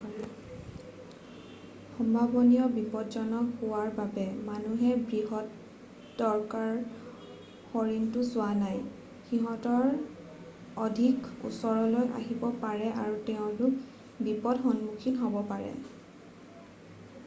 সম্ভাৱনীয় বিপজ্জনক হোৱাৰ বাবে মানুহে বৃহদাকাৰ হৰিণটো চোৱা নাই সিঁহত অধিক ওচৰলৈ আহিব পাৰে আৰু তেওঁলোক বিপদৰ সন্মুখীন হ'ব পাৰে